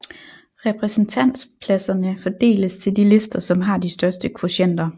Repræsentantspladserne fordeles til de lister som har de største kvotienter